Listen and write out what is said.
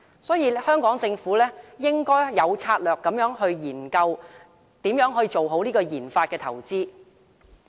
所以，香港政府應該有策略地研究如何做好研發投資。